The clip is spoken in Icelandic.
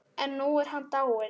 En nú er hann dáinn.